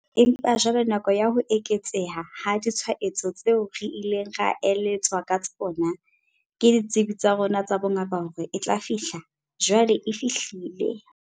Empa jwale nako ya ho eketseha ha ditshwaetso tseo re ileng ra eletswa ka tsona ke ditsebi tsa rona tsa bongaka hore e tla fihla, jwale e fihlile.